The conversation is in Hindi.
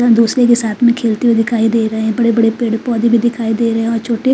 यहा दुसरे के साथ में खेलते हुए दिखाई दे रहे है बड़े बड़े पेड़ पोधे भी दिखाई दे रहे है और छोटे--